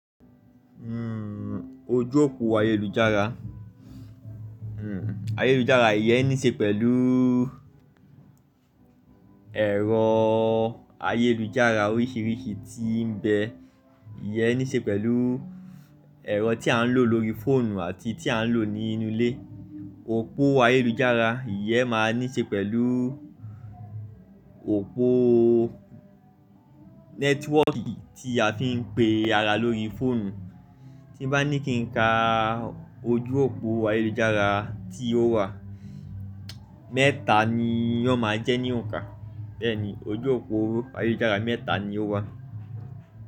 Ojú òpó ayélujára, ayélujára iyẹn níí ṣe pẹ̀lú ẹ̀rọ ayélujára oríṣiríṣi tí ń bẹ. Iyẹn níí ṣe pẹ̀lú ẹ̀rọ tí à ń lò lórí fóònù àti tí à ń lò ní inú ilé. Òpó ayélujára iyẹn máa níí ṣe pẹ̀lú òpó nẹ́tíwọ́ọ̀kì tí a fi ń pe ara lórí fóònù. Tí bá ní kí n ka ojú òpó ayélujára tí ó wà, mẹ́ta ni ò máa jẹ́ ní òǹkà. Bẹ́ẹ̀ni ojú òpó ayélujára mẹ́ta ni ó wà.